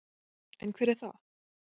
En hver er það?